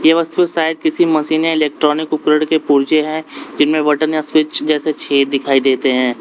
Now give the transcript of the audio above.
ए वस्तु शायद किसी मशीन या इलेक्ट्रॉनिक उपकरण के पुर्जे है जिनमें बटन या स्विच जैसे छेद दिखाई देते हैं।